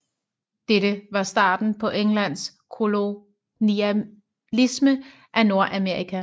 Dette var starten på Englands kolonialisme af Nordamerika